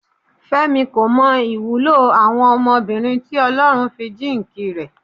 Fẹ́mi kò mọ ìwúlò àwọn ọmọbìnrin tí Ọlọ́run fi jíǹkì rẹ̀.